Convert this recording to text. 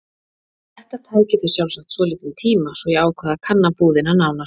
Þetta tæki þau sjálfsagt svolítinn tíma svo ég ákvað að kanna búðina nánar.